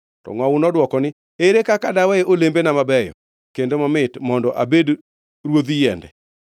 “To ngʼowu nodwoko ni, ‘Ere kaka dawe olembena mabeyo kendo mamit mondo abed ruodh yiende?’